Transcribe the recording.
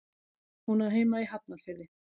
Hún á heima í Hafnarfirði.